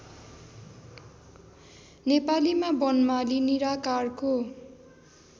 नेपालीमा वनमाली निराकारको